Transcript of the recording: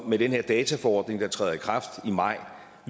med den her dataforordning der træder i kraft i maj